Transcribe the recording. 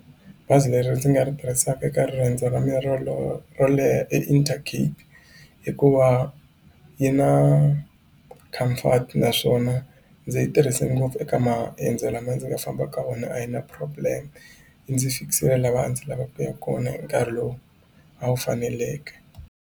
Bazi leri ndzi nga ri tirhisaka eka riendzo ra mina ro leha i Intercape hikuva yi na comfort naswona ndzi yi tirhise ngopfu eka maendzo lama ndzi nga famba ka wona a yi na problem yi ndzi fikisile laha a ndzi lava ku yaka kona hi nkarhi lowu a wu faneleke.